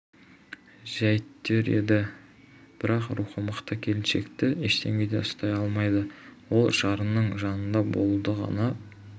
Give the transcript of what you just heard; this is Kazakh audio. жәйттер еді бірақ рухы мықты келіншекті ештеңе де ұстай алмайды ол жарының жанында болуды ғана